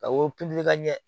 Ka wo ka ɲɛ